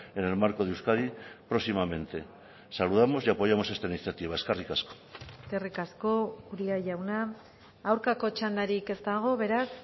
en el marco de euskadi próximamente saludamos y apoyamos esta iniciativa eskerrik asko eskerrik asko uria jauna aurkako txandarik ez dago beraz